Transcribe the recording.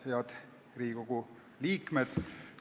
Head Riigikogu liikmed!